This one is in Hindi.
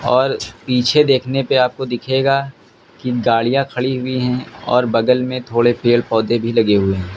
और पीछे देखने पे आपको दिखेगा कि गाड़ियां खड़ी हुई हैं और बगल में थोड़े पेड़ पौधे भी लगे हुए हैं।